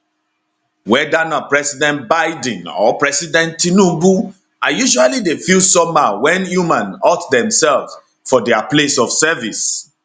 weda na president biden or president tinubu i usually dey feel somehow wen human hurt demsef for dia place of service